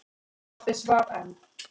Pabbi svaf enn.